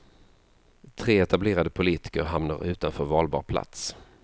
Tre etablerade politiker hamnar utanför valbar plats.